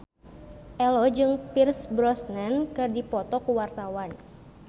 Ello jeung Pierce Brosnan keur dipoto ku wartawan